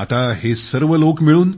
आता हे सर्व लोक मिळून